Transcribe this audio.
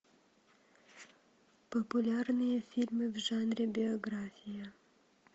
популярные фильмы в жанре биография